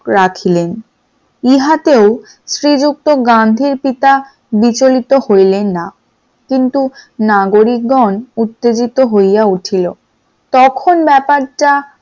রাখিলেন । ইহাতে শ্রীযুক্ত গান্ধীর পিতা বিচলিত হইলেন না কিন্তু নাগরিকগণ উত্তেজিত হইয়া উঠিলো তখন ব্যাপারটা